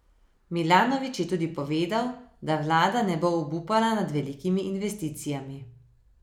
Milanović je tudi povedal, da vlada ne bo obupala nad velikimi investicijami.